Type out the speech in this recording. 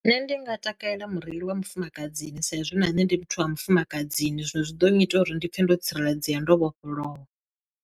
Nṋe ndi nga takalela mureili wa mufumakadzi saizwi na nṋe ndi muthu wa mufumakadzini zwino zwi ḓo ngita uri ndi pfhe ndo tsireledzea ndo vhofholowa.